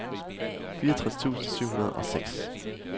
fireogtres tusind syv hundrede og seks